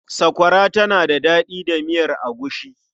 Sakwara tana da daɗi da miyar agushi.